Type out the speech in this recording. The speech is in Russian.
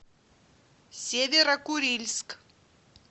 северо курильск